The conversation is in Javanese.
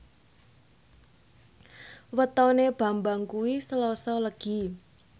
wetone Bambang kuwi Selasa Legi